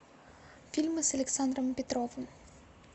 фильмы с александром петровым